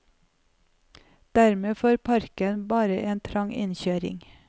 Dermed får parken bare en trang innkjøring.